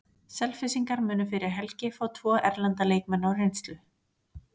Selfyssingar munu fyrir helgi fá tvo erlenda leikmenn á reynslu.